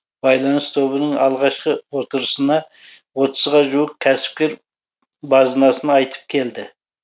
байланыс тобының алғашқы отырысына отызға жуық кәсіпкер базынасын айтып келді